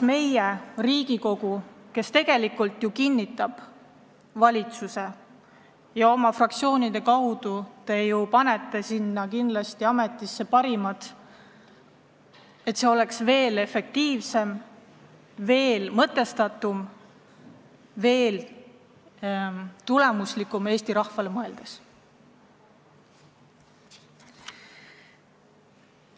Riigikogu ju kinnitab valitsuse koosseisu ja fraktsioonid soovivad kindlasti ametisse esitada parimad kandidaadid, et riigi juhtimine oleks efektiivsem, mõtestatum ja Eesti rahva tuleviku seisukohast tulemuslikum.